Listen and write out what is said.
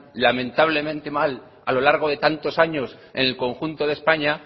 lamentablemente mal a lo largo de tantos años en el conjunto de españa